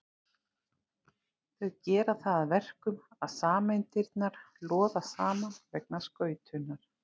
Þau gera það að verkum að sameindirnar loða saman vegna skautunar.